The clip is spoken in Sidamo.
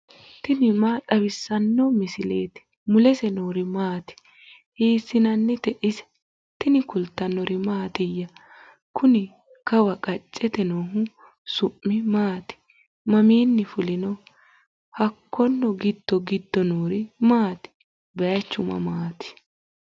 tini maa xawissanno misileeti ? mulese noori maati ? hiissinannite ise ? tini kultannori mattiya? Kunni kawaa qacete noohu su'mi maatti? maminni fulinnoho? Hakkonni giddo giddo noori maatti? Bayiichchu mamaatti?